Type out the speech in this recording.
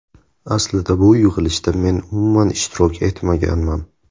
Aslida bu yig‘ilishda men umuman ishtirok etmaganman.